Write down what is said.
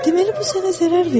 Deməli, bu sənə zərər verdi?